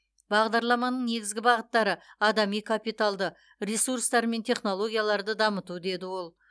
бағдарламаның негізгі бағыттары адами капиталды ресурстар мен технологияларды дамыту деді ол